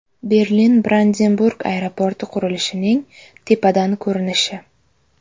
Berlin-Brandenburg aeroporti qurilishining tepadan ko‘rinishi.